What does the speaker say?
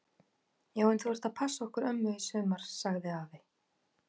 Já en þú ert að passa okkur ömmu í sumar! sagði afi.